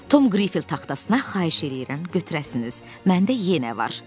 Tom qrife taxtasına: "Xahiş eləyirəm götürəsiniz, məndə yenə var."